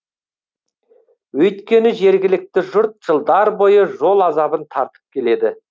өйткені жергілікті жұрт жылдар бойы жол азабын тартып келеді